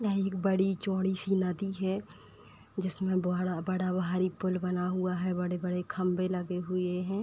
यह एक बड़ी चौड़ी-सी नदी है। जिसमे बड़ा-बड़ा भारी पुल बना हुआ है। बड़े-बड़े खंबे लगे हुए हैं।